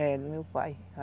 É, do meu pai.